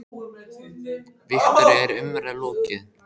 Viktoría, er umræðum lokið?